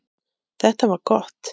Þetta var gott.